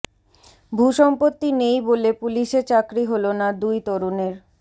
ভূসম্পত্তি নেই বলে পুলিশে চাকরি হলো না দুই তরুণের